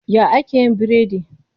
Ya ake yin biredi?